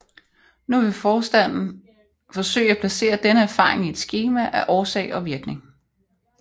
Nu vil forstanden forsøge at placere denne erfaring i et skema af årsag og virkning